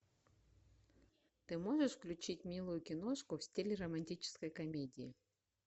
ты можешь включить милую киношку в стиле романтической комедии